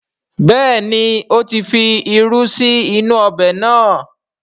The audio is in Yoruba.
Bẹ́ẹ̀ni, ó ti fi irú sí inú ọbẹ̀ náà